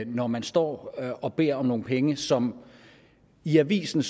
når man står og beder om nogle penge som i avisen